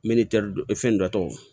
fɛn dɔ tɔgɔ